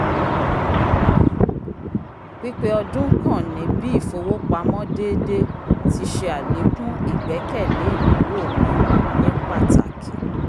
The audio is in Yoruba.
pipe ọdún kàn ní bí if'owopamọ déédé ti ṣe alekun igbẹkẹle ìnáwó mi ni pàtàkì